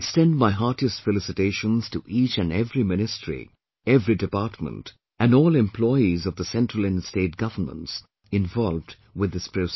I extend my heartiest felicitations to each and every ministry, every department and all employees of the Central and State governments involved with this process